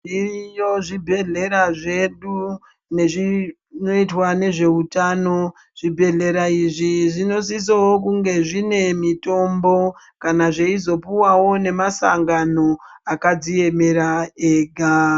Zviriyo zvibhedhlera zvedu nezvinoitwa nezveutano. Zvibhedhlera izvi zvinosisawo kunge zvine mitombo. Kana zveizopuwawo ngemasangano akadziemera dzega.